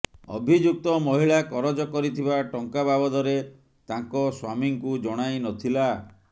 ଅଭିଯୁକ୍ତ ମହିଳା କରଜ କରିଥିବା ଟଙ୍କା ବାବଦରେ ତାଙ୍କ ସ୍ବାମୀଙ୍କୁ ଜଣାଇ ନଥିଲା